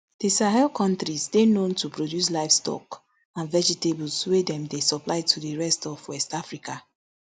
di sahel kontries dey known to produce livestock and vegetables wey dem dey supply to di rest of west africa